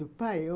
Do pai?